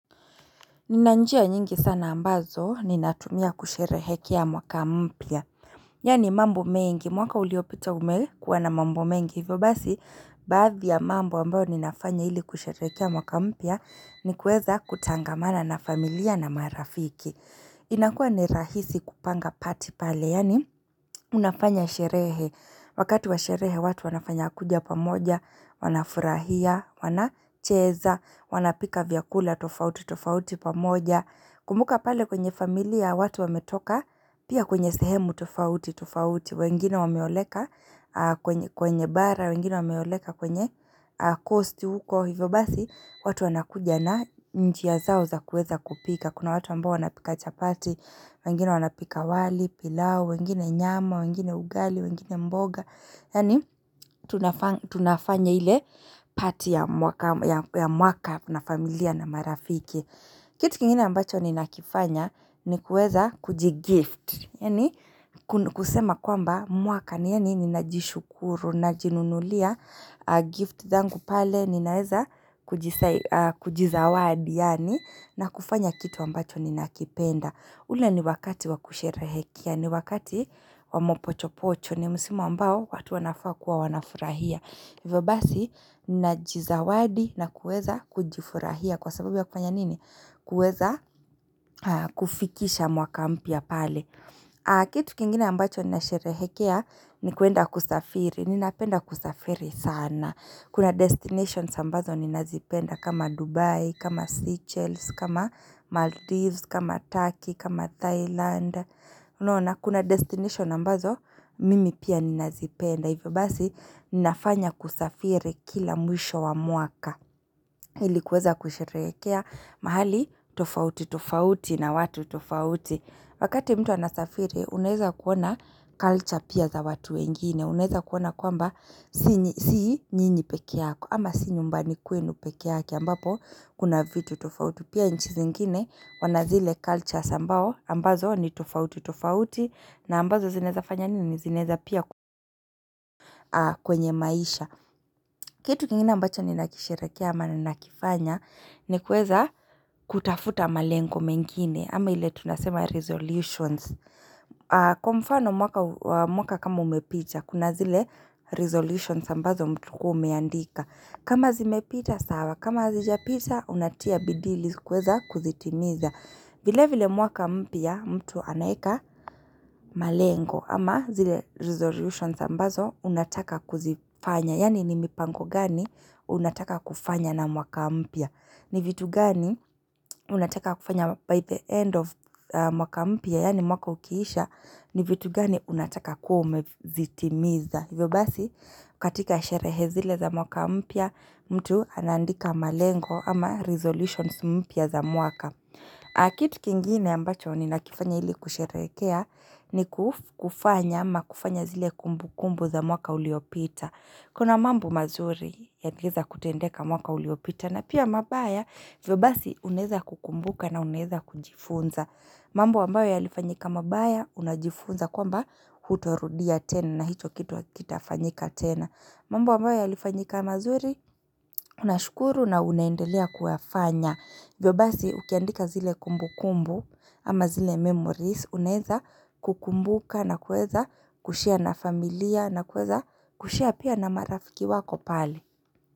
Nina njia nyingi sana ambazo, ninatumia kusherehekea mwaka mpya. Yani mambo mengi, mwaka uliopita ume kuwa na mambo mengi. hiVyo basi, baadhi ya mambo ambayo ninafanya ili kusherehekea mwaka mpya, ni kueza kutangamana na familia na marafiki. Inakua ni rahisi kupanga pati pale, yani unafanya sherehe. Wakati washerehe watu wanafanya kuja pamoja, wanafurahia, wanacheza, wanapika vyakula tofauti tofauti pamoja, kumbuka pale kwenye familia watu wametoka pia kwenye sehemu tofauti tofauti, wengine wameoleka kwenye bara, wengine wameoleka kwenye kosti huko, hivyo basi watu wanakuja na njia zao za kueza kupika. Kuna watu ambao wanapika chapati, wengine wanapika wali, pilau, wengine nyama, wengine ugali, wengine mboga Yani tunafanya hile pati ya mwaka na familia na marafiki Kitu kingine ambacho ni nakifanya ni kuweza kujigift Yani kusema kwamba mwaka niyani ninajishukuru, najinunulia Gift zangu pale ninaeza kujizawadi Yani na kufanya kitu ambacho ni nakipenda ule ni wakati wakusherehekea ni wakati wamopocho pocho ni musimu ambao watu wanafaa kuwa wanafurahia Hivo basi ninajizawadi na kueza kujifurahia Kwa sababu ya kufanya nini? Kueza kufikisha mwakamp ya pale Kitu kingine ambacho nina sherehekea ni kuenda kusafiri Ninapenda kusafiri sana Kuna destinations ambazo ni nazipenda kama Dubai, kama Seychelles, kama Maltives, kama Turkey, kama Thailand. Kuna destination ambazo, mimi pia ni nazipenda. Hivyo basi, ninafanya kusafiri kila mwisho wa mwaka. Hili kuweza kusherehekea mahali tofauti, tofauti na watu tofauti. Wakati mtu anasafiri, unaeza kuona culture pia za watu wengine. Unaeza kuona kwamba sii nyinyi pekeyako ama sinyumbani kwenu pekeyake ambapo kuna vitu tofauti pia nchi zingine wanazile culture sambao ambazo ni tofauti tofauti na ambazo zinaeza fanya nini zinaeza pia kwenye maisha kitu kingine ambacho ni nakisherehekea ama ni nakifanya ni kueza kutafuta malengo mengine ama ile tunasema resolutions Kwa mfano mwaka kama umepita kuna zile resolutions ambazo mtu kuu umeandika kama zimepita sawa, kama hazijapita unatia bidii ili kuweza kuzitimiza vile vile mwaka mpya mtu anaeka malengo ama zile resolutions ambazo unataka kuzifanya Yaani ni mipango gani unataka kufanya na mwaka mpya ni vitu gani unataka kufanya by the end of mwaka mpya Yaani mwaka ukiisha ni vitu gani unataka kuwa umezitimiza hivyobasi katika sherehe zile za mwaka mpya mtu anaandika malengo ama resolutions mpya za mwaka Akitu kingine ambacho ni nakifanya ili kusherehekea ni kufanya ama kufanya zile kumbu kumbu za mwaka uliopita Kuna mambo mazuri ya ngeeza kutendeka mwaka uliopita na pia mabaya hivyo basi unaeza kukumbuka na unaeza kunjifunza mambo ambayo yalifanyika mabaya unajifunza kwamba hutorudia tena na hicho kitu akita fanyika tena. Mambo ambayo yalifanyika mazuri unashukuru na unaendelea kuyafanya. Hivyobasi ukiandika zile kumbu kumbu ama zile memories unaeza kukumbuka na kueza kushare na familia na kueza kushare pia na marafiki wako pale.